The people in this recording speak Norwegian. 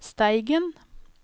Steigen